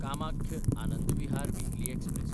कामाख्य–आनंद Vihar weekly express